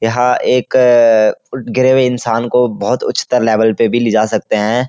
यहाँ एक गिरे हुए इंसान को बहुत उच्चतर लेवल पे भी ले जा सकते हैं।